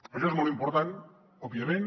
això és molt important òbviament